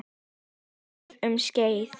Hann dugði um skeið.